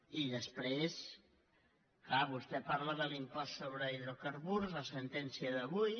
i després clar vostè parla de l’impost sobre hidrocar·burs la sentència d’avui